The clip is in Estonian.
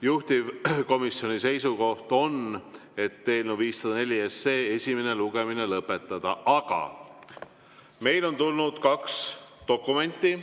Juhtivkomisjoni seisukoht on eelnõu 504 esimene lugemine lõpetada, aga meile on tulnud kaks dokumenti.